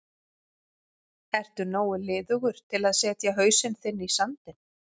Ertu nógu liðugur til að setja hausinn þinn í sandinn?